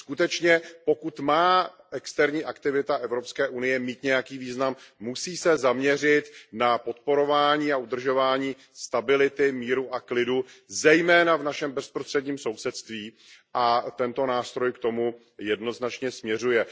Skutečně, pokud má externí aktivita EU mít nějaký význam, musí se zaměřit na podporování a udržování stability, míru a klidu zejména v našem bezprostředním sousedství a tento nástroj k tomu jednoznačně směřuje.